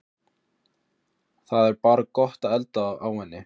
Það er bara gott að elda á henni